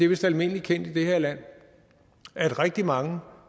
vist almindeligt kendt i det her land at rigtig mange